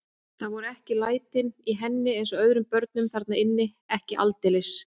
Það voru ekki lætin í henni eins og öðrum börnum þarna inni, ekki aldeilis.